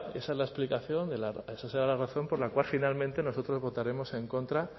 esa es la explicación de la esa será la razón por la cual finalmente nosotros votaremos en contra